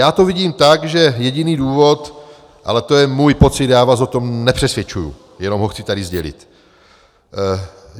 Já to vidím tak, že jediný důvod - ale to je můj pocit, já vás o tom nepřesvědčuji, jenom ho chci tady sdělit.